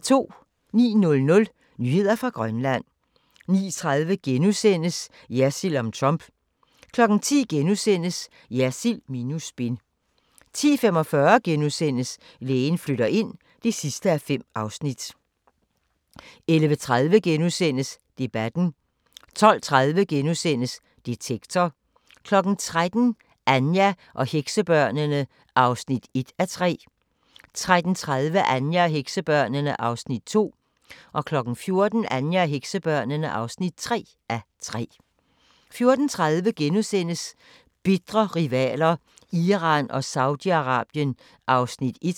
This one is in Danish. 09:00: Nyheder fra Grønland 09:30: Jersild om Trump * 10:00: Jersild minus spin * 10:45: Lægen flytter ind (5:5)* 11:30: Debatten * 12:30: Detektor * 13:00: Anja og heksebørnene (1:3) 13:30: Anja og heksebørnene (2:3) 14:00: Anja og heksebørnene (3:3) 14:30: Bitre rivaler: Iran og Saudi-Arabien (1:3)*